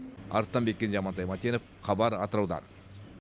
арыстанбек кенже амантай мәтенов хабар атыраудан